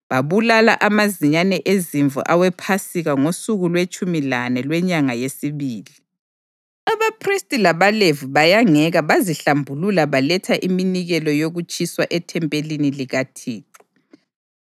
Babulala amazinyane ezimvu awePhasika ngosuku lwetshumi lane lwenyanga yesibili. Abaphristi labaLevi bayangeka bazihlambulula baletha iminikelo yokutshiswa ethempelini likaThixo.